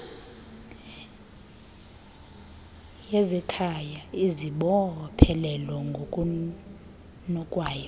yezekhaya izibophelela ngokunokwayo